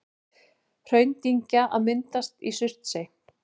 Hraundyngja að myndast í Surtsey.